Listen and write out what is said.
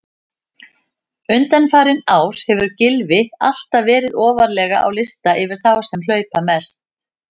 Undanfarin ár hefur Gylfi alltaf verið ofarlega á lista yfir þá sem hlaupa mest.